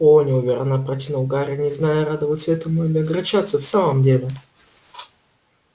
о-о неуверенно протянул гарри не зная радоваться этому или огорчаться в самом деле